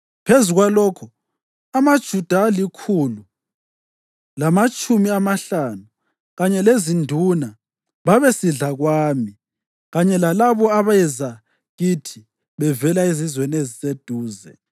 Phezu kwalokho, amaJuda alikhulu lamatshumi amahlanu kanye lezinduna babesidla kwami kanye lalabo abeza kithi bevela ezizweni eziseduze.